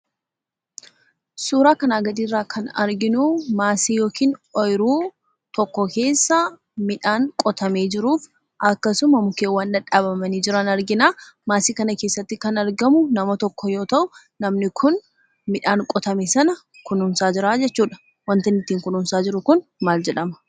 Suuraa kanaa gadiirraa kan arginuu maasii yookiin ooyiruu tokko keessa midhaan qotamee jiruuf akkasuma mukkeen dhadhaabamanii jiran argina. Maasii kana keessatti kan argamu nama tokko yoo ta'u, namni kun midhaan qotame sana kunuunsaa jiraa jechuudha. Wanti inni ittiin kunuunsaa jiru kun maal jedhama?